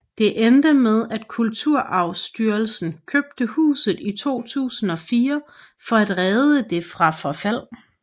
Det endte med at Kulturarvsstyrelsen købte huset i 2004 for at redde det fra forfald